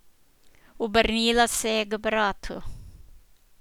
Obrnila se je k bratu.